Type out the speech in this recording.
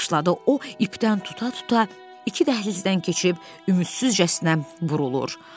O ipdən tuta-tuta iki dəhlizdən keçib ümidsizcəsinə burulur.